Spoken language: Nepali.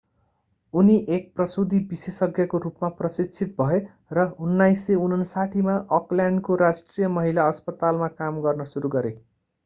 उनी एक प्रसूति विशेषज्ञको रूपमा प्रशिक्षित भए र 1959 मा अकल्यान्डको राष्ट्रिय महिला अस्पतालमा काम गर्न सुरु गरे